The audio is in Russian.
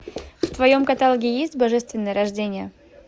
в твоем каталоге есть божественное рождение